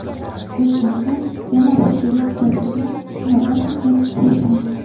Toshkentda yana bir elektrobusni sinovdan o‘tkazish boshlandi.